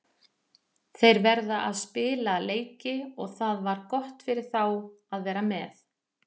Þeir verða að spila leiki og það var gott fyrir þá að vera með.